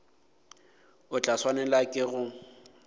o tla swanela ke go